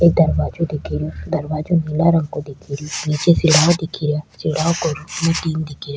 एक दरवाजो दिख रो दरवाजों नीला रंग को दिख रा --